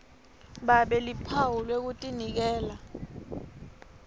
babe luphawu lwekutinikela